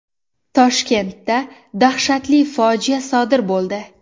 Toshkentda dahshatli fojia sodir bo‘ldi.